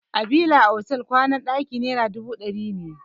A bila otal kowana ɗaki naira dubu ɗari ne.